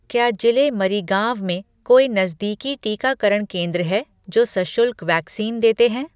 क्या जिले मरीगांव में कोई नज़दीकी टीकाकरण केंद्र हैं जो सशुल्क वैक्सीन देते हैं?